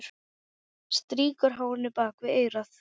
Strýkur hárinu bak við eyrað.